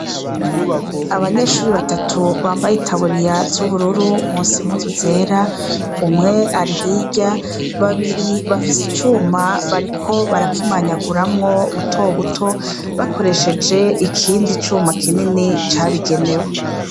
Abanyeshure batatu bambaye itaburiya z'ubururu, munsi impuzu zera, umwe ari hirya, babiri bafise icuma bariko barakimanyaguramwo butobuto, bakoresheje ikindi cuma kinini cabigenewe.